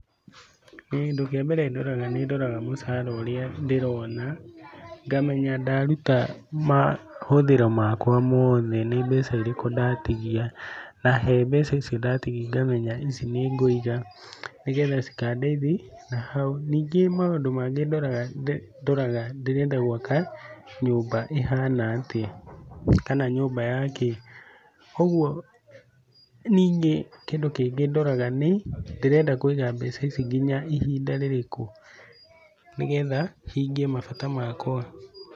Kĩndũ kĩa mbere ndoraga nĩ ndoraga mũcara ũrĩa ndĩrona ngamenya ndaruta mahũthĩro makwa mothe nĩ mbeca irĩku ndatigia, na he mbeca icio ndatigia ngamenya ici nĩ ngũiga nĩgetha cikandeithia nahau. Ningĩ maũndũ mangĩ ndoraga ndĩrenda gwaka nyũmba ĩhana atĩa kana nyũmba yakĩ. Koguo ningĩ kĩndũ kĩngĩ ndoraga nĩ ndĩrenda kũiga mbeca ici nginya ihinda rĩrĩkũ nĩgetha hingie mabata makwa.